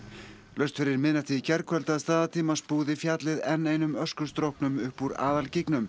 laust fyrir miðnætti í gærkvöld að staðartíma fjallið enn einum upp úr